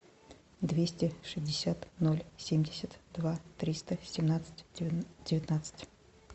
двести шестьдесят ноль семьдесят два триста семнадцать девятнадцать